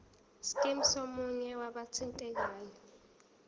scheme somunye wabathintekayo